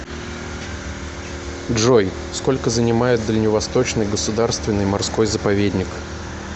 джой сколько занимает дальневосточный государственный морской заповедник